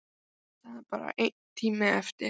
Það er bara einn tími eftir.